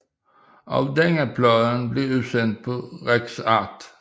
Også denne plade blev udsendt på RecArt